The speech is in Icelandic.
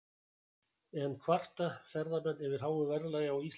En kvarta ferðamenn yfir háu verðlagi á Íslandi?